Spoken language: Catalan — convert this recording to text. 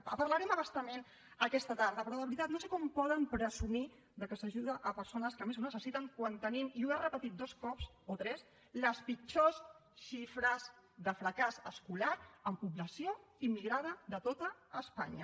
en parlarem a bastament aquesta tarda però de veritat no sé com poden presumir que s’ajuda a persones que més ho necessiten quan tenim i ho he repetit dos cops o tres les pitjors xifres de fracàs escolar en població immigrada de tot espanya